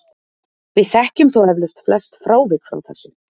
við þekkjum þó eflaust flest frávik frá þessu